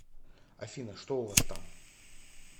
афина что у вас там